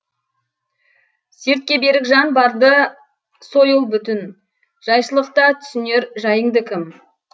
сертке берік жан барда сойыл бүтін жайшылықта түсінер жайыңды кім